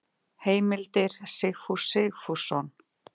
Heimildir Sigfús Sigfússon.